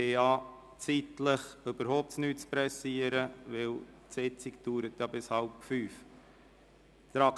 Aus zeitlicher Sicht müssen wir uns überhaupt nicht beeilen, denn die Sitzung dauert bis um 16.30 Uhr.